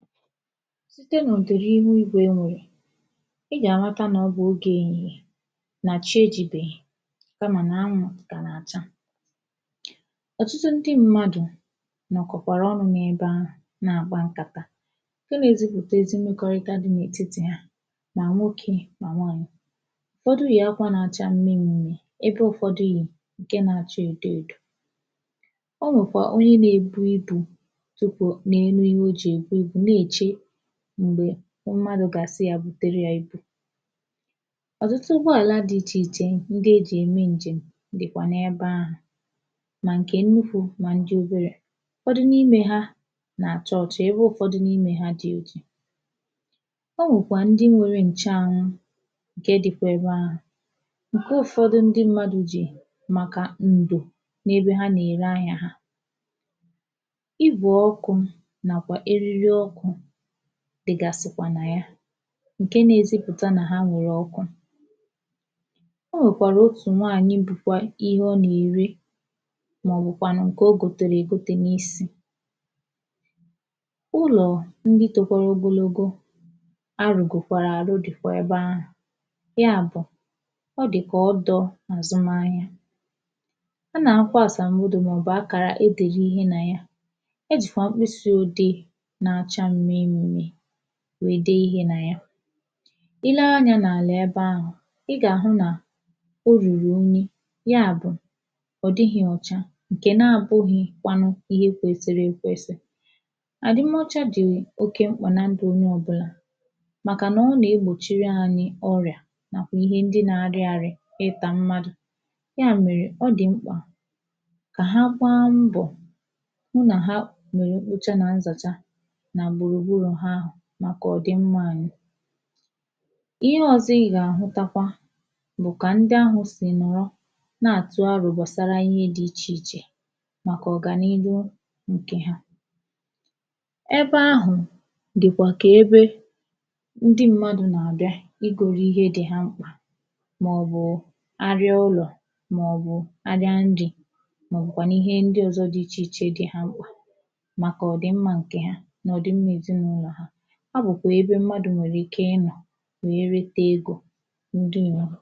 site nà ọ̀ dị̀ri ihu igwè e nwèrè ị gà-àrata nà ọ bụ ogè èhihiè nà chi ejībèghì kamà nà anwụ̄ dì kà nà-àcha ọ̀tụtụ ndị mmadụ̀ nọ̀kọ̀kwàrà ọnụ̄ n’ebe ahụ̀ na-àkpa nkàta ǹke na-ezipụta ezi mmekọrịta di n’etiti ha nà nwoke mà nwaanyị̀ ụ̀fọdụ yì akwā na-acha mmimmi ebe ụ̀fọdị yì ǹke na-acha èdo èdò o nwèkwàrà onye na-ebu ibū tupù n’enu ihe o jì èbu ibū na-èche m̀gbè mmadụ̀ gà-àsị ya bùtere ya ibu ọ̀tụtụ ụgbọ àlà di ichè ichè ndị ejì ème njèm dị̀kwà n’ebe ahụ̀ mà ǹkè nnukwu mà ndị oberē ụ̀fọdụ n’ime ha nà-àcha ọ̀cha ebe ụ̀fọdụ n’ime ha dì òji o nwekwàrà ndị nwere ǹchụanwụ ǹke dịkwa ebe ahụ̀ ǹke ụ̀fọdụ ndị mmadụ̀ jì màkà ǹdò n’ebe ha nà-ère ahịā ha igwè ọkụ̄ nàkwà eriri ọkụ̄ dị̀gàsịkwà nà ya ǹke na-ezipụ̀ta nà ha nwèrè ọkụ ọ nwèkwàrà otù nwaanyị̀ bụkwa ihe ọ nà-ère màọbụkwànụ̀ ǹkè ọ gòtèrè n’isi ụlọ̀ ndị tokwara ogologo arụ̀gòkwàrà àrụ dị̀kwà ebe ahụ̀ ya bụ̀ ọ dị̀kà ọdọ̄ àzụmahịa a nà-àhụkwa àsambodo màọbụ akàrà edèrè ihe na ya ejìkwà mkpisi òdee na-acha mmimmi wee dee ihe nà ya ilee anyā n’àlà ebe ahụ̀ ị gà-àhụ nà ọ rùrù unyi ya bụ̀ ọ̀ dịghị̄ ọ̀cha ǹkè na abụ̄ghịkwanụ ihe kwesiri èkwesi àdịm ọcha dị̀ oke mkpà na ndù onye ọ̀bụlà màkà nà ọ nà-ekpòchiri ànyị ọrịà nàkwà ihe ndị na-arị àrị ịtà mmadụ̀ ya mèrè ọ dị̀ mkpà kà ha gbaa mbọ̀ hụ nà ha mèrè mkpocha nà nzàcha nà gbùrùgburù ha ahụ̀ màkà ọ dị mmā ànyị ihe ọ̀zọ ị gà-àhụtakwa bụ̀ kà ndị ahụ sì nọ̀rọ̀ na-àtụ arọ̀ gbàsara ihe di ichè ichè màkà ọ gà n’ilu ǹkè ha ebe ahụ̀ dị̀kwà kà ebe ndị m̀madụ nà-àbịa igōro ihe dị ha mkpà màọbụ̀ arịa ụlọ̀ màọbụ̀ arịa ndị̄ màọbụ̀kwànụ̀ ihe ndị ọ̀zọ dị ichè ichè dị ha mkpà màkà ọ dị mmā ǹkè ha nà ọ̀ dị mmā èzinaụlọ̀ ha ọ bụ̀kwà ebe mmadụ̀ nwèrè ike ịnọ̀ wee rete egō ǹdewonu